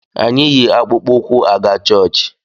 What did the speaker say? Anyị yi akpụkpụ ụkwụ aga chọọchị